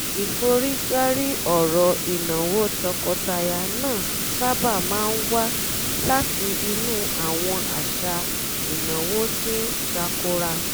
ìforígbárí ọ̀rọ̀ ìnáwó tọkọtaya náà sábà máa ń wá láti inú àwọn àṣà ìnáwó tí ń tàkòrá